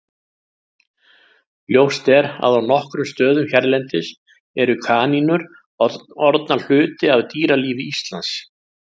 Ljóst er að á nokkrum stöðum hérlendis eru kanínur orðnar hluti af dýralífi Íslands.